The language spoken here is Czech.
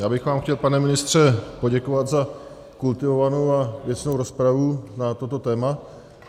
Já bych vám chtěl, pane ministře, poděkovat za kultivovanou a věcnou rozpravu na toto téma.